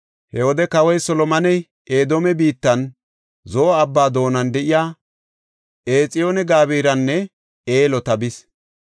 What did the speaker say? He wode kawoy Solomoney Edoome biittan Zo7o Abbaa doonan de7iya Exiyoon-Gabiranne Eloota bis.